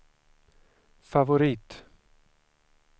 favorit